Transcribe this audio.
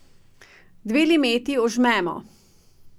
Dve limeti ožmemo.